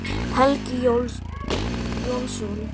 Helgi Jónsson